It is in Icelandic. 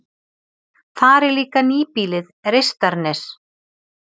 Þar er líka nýbýlið Reistarnes.